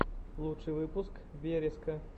лучший выпуск вереска